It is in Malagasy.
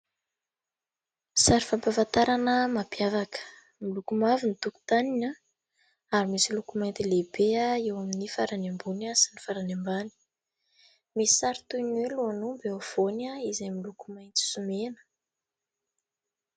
Sary fampahafantarana mampiavaka. Miloko mavo ny tokontaniny ary misy loko mena lehibe eo amin'ny farany ambony sy farany ambany. Misy sary toy ny hoe lohan'omby eo afovoany izay miloko maintso sy mena.